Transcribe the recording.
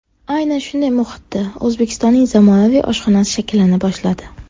Aynan shunday muhitda O‘zbekistonning zamonaviy oshxonasi shakllana boshladi.